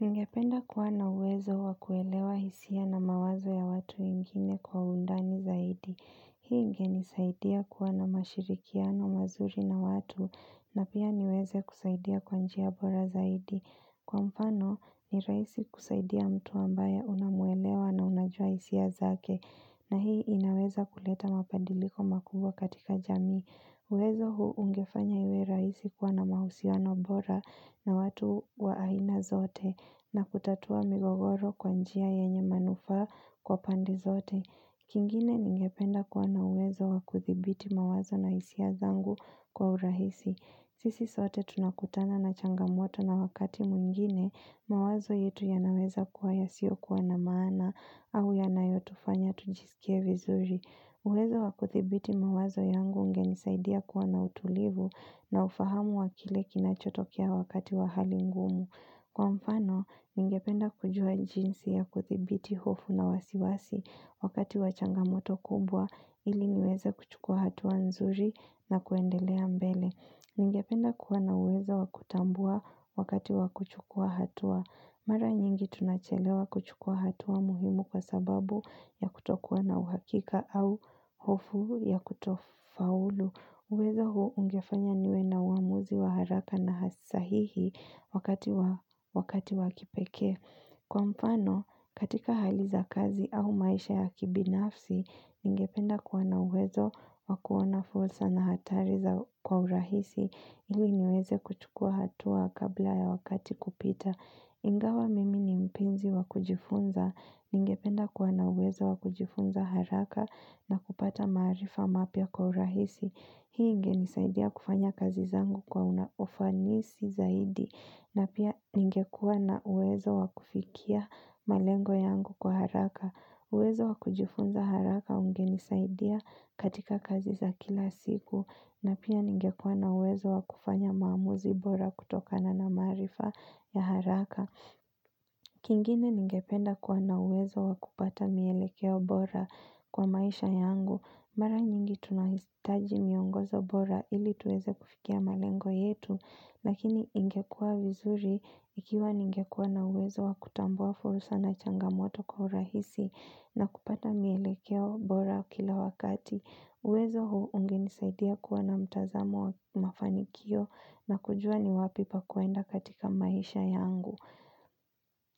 Ningependa kuwa na uwezo wa kuelewa hisia na mawazo ya watu wengine kwa undani zaidi. Hii inge nisaidia kuwa na mashirikiano mazuri na watu, na pia niweze kusaidia kwanjia bora zaidi. Kwa mfano, ni raisi kusaidia mtu ambaye unamuelewa na unajua hisia zake, na hii inaweza kuleta mapandiliko makubwa katika jami. Uwezo huu ungefanya iwe rahisi kwa na mahusiano bora na watu waaina zote na kutatua migogoro kwanjia yenye manufa kwa pande zote. Kingine ningependa kuwa na uwezo wa kuthibiti mawazo na isia zangu kwa urahisi. Sisi sote tunakutana na changamoto na wakati mwingine mawazo yetu ya naweza kuwa ya siyo kuwa na maana au ya na yotufanya tujisikie vizuri. Uwezo wa kuthibiti mawazo yangu unge nisaidia kuwa na utulivu na ufahamu wa kile kinachotokea wakati wa hali ngumu. Kwa mfano, ningependa kujua jinsi ya kuthibiti hofu na wasiwasi wakati wachangamoto kubwa ili niweze kuchukua hatua nzuri na kuendelea mbele. Ningependa kuwa na uwezo wa kutambua wakati wa kuchukua hatu a. Mara nyingi tunachelewa kuchukua hatua muhimu kwa sababu ya kutokuwa na uhakika au hofu ya kutofaulu. Uwezo huo ungefanya niwe na uamuzi wa haraka na hasisahihi wakati wakipeke. Kwa mfano, katika haliza kazi au maisha ya kibinafsi, ninge penda kuwana uwezo wa kuona fulsa na hatariza kwa urahisi. Ili niweze kuchukua hatua kabla ya wakati kupita. Ingawa mimi ni mpinzi wakujifunza. Ningependa kuwa na uwezo wakujifunza haraka na kupata marifa mapia kwa urahisi. Hii inge nisaidia kufanya kazi zangu kwa unaofanisi zaidi. Na pia ngekuwa na uwezo wakufikia malengo yangu kwa haraka. Uwezo wakujifunza haraka unge nisaidia katika kazi za kila siku. Na pia ningekuwa na uwezo wakufanya maamuzi bora kutoka na na marifa ya haraka. Kingine ningependa kuwa na uwezo wakupata mielekeo bora kwa maisha yangu. Mara nyingi tunahitaji miongozo bora ili tuweze kufikia malengo yetu. Lakini ingekuwa vizuri ikiwa ningekuwa na uwezo wakutambua furusa na changamoto kwa urahisi na kupata mielekeo bora kila wakati. Uwezo huu unge nisaidia kuwa na mtazamo wa mafanikio na kujua ni wapi pa kuenda katika maisha yangu.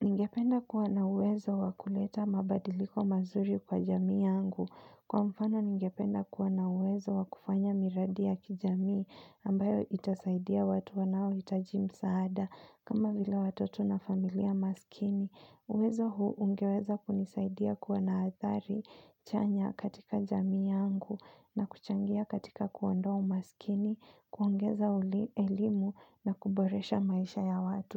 Ningependa kuwa na uwezo wa kuleta mabadiliko mazuri kwa jami yangu. Kwa mfano ningependa kuwa na uwezo wa kufanya miradi ya kijami ambayo itasaidia watu wa nao hitaajimsaada kama vila watoto na familia maskini. Uwezo huu ungeweza kunisaidia kuwanaathari, chanya katika jami yangu na kuchangia katika kuondoa umasikini, kuongeza elimu na kuboresha maisha ya watu.